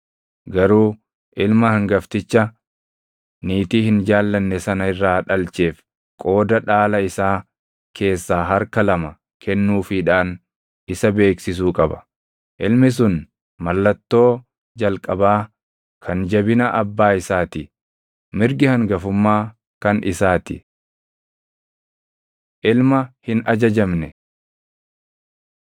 Garuu ilma hangafticha niitii hin jaallanne sana irraa dhalcheef qooda dhaala isaa keessaa harka lama kennuufiidhaan isa beeksisuu qaba. Ilmi sun mallattoo jalqabaa kan jabina abbaa isaa ti. Mirgi hangafummaa kan isaa ti. Ilma Hin Ajajamne